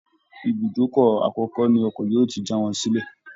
Ibùdókọ̀ akọ́kọ́ ni ọkọ̀ yóò ti já wọn sílẹ̀